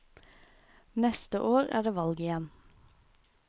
Neste år er det valg igjen.